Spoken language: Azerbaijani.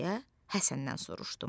deyə Həsəndən soruşdum.